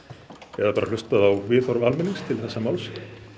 eða bara hlustað á viðhorf almennings til þessa máls